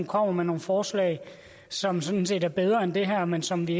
kommer med nogle forslag som sådan set er bedre end det her men som vi